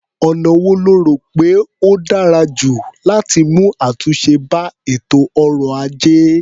Ọ̀nà wo lo rò pé ó dára jù láti mú àtúnṣe bá ètò ọrọ̀-ajé?